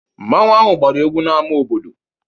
Mmanwu ahụ gbara egwu n'ámá obodo.